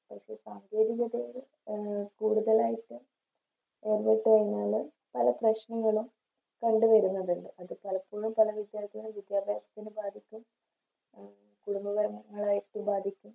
പക്ഷെ സാങ്കേതികതയുടെ എ കൂടുതലായിട്ട് ഇടപെട്ടുകഴിഞ്ഞാല് പല പ്രശ്നങ്ങളും കണ്ട് വരുന്നതുണ്ട് അത് പലപ്പോഴും പല വിദ്യാഭ്യാസത്തിനു ബാധിക്കും കുടുംബപരമായി ബാധിക്കും